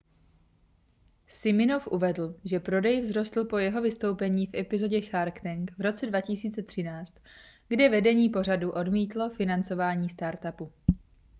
siminoff uvedl že prodej vzrostl po jeho vystoupení v epizodě shark tank v roce 2013 kde vedení pořadu odmítlo financování startupu